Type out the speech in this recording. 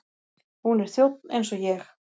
Hún er þjónn eins og ég.